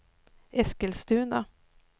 Eskilstuna